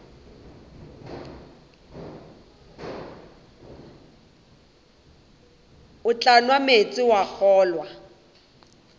tla nwa meetse wa kgolwa